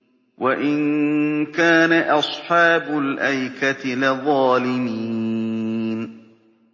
وَإِن كَانَ أَصْحَابُ الْأَيْكَةِ لَظَالِمِينَ